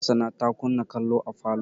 Hassana ta kunna kallo a falo.